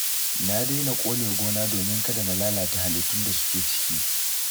Na daina ƙone gona domin kada na lalata halittun da suke ciki